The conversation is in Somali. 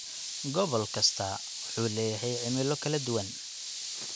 Gobol kastaa wuxuu leeyahay cimilo kala duwan.